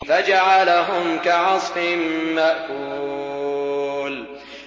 فَجَعَلَهُمْ كَعَصْفٍ مَّأْكُولٍ